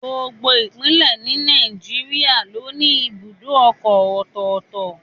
Gbogbo Ìpínlẹ̀ ni Nàìjíríà ló ní ibùdó ọkọ̀ ọ̀tọ̀ọ̀tọ̀